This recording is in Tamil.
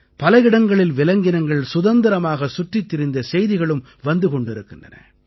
பல இடங்களில் விலங்கினங்கள் சுதந்திரமாக சுற்றித் திரிந்த செய்திகளும் வந்து கொண்டிருக்கின்றன